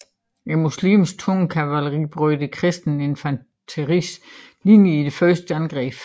Muslimernes tunge kavaleri brød det kristne infanteris linjer i deres første angreb